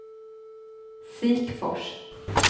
Sikfors